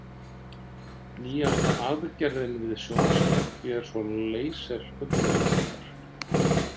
Nýjasta aðgerðin við sjónskekkju er svo laseraugnlækningar.